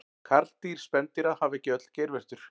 karldýr spendýra hafa ekki öll geirvörtur